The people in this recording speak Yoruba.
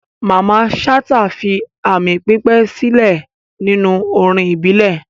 Mamman Shata fi aami pípẹ́ sílẹ̀ nínú orin ìbílẹ̀.